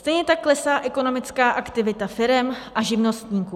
Stejně tak klesá ekonomická aktivita firem a živnostníků.